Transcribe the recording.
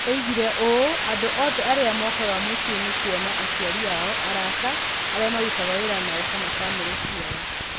Oigire ũũ: "Andũ othe arĩa mokaga mũciĩ nĩ kuona aciari ao, arata, arĩa marutaga wĩra nao, kana famĩlĩ ciao.